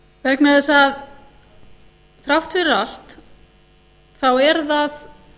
vegna þess að þrátt fyrir allt þá er það